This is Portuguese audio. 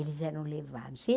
Eles eram levados.